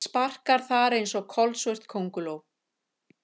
Sparkar þar einsog kolsvört könguló.